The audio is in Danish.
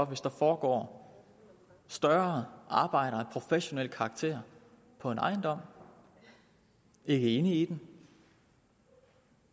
hvis der foregår større arbejder af professionel karakter på en ejendom ikke inde i den